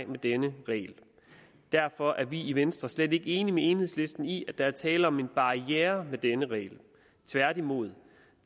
med denne regel derfor er vi i venstre slet ikke enige med enhedslisten i at der er tale om en barriere med denne regel tværtimod